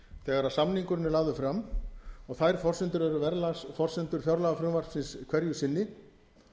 þegar samningurinn er lagður fram og þær forsendur eru verðlagsforsendur fjárlagafrumvarpsins hverju sinni